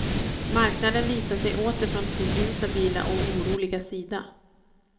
Marknaden visar sig åter från sin instabila och oroliga sida.